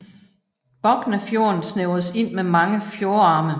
Boknafjorden snævres ind med mange fjordarme